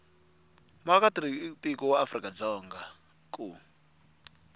muakatiko wa afrika dzonga ku